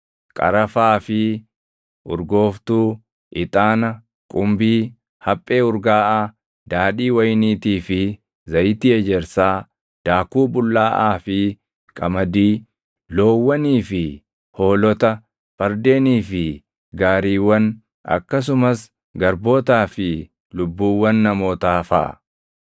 qarafaa fi urgooftuu, ixaana, qumbii, haphee urgaaʼaa, daadhii wayiniitii fi zayitii ejersaa, daakuu bullaaʼaa fi qamadii, loowwanii fi hoolota, fardeenii fi gaariiwwan, akkasumas garbootaa fi lubbuuwwan namootaa faʼa.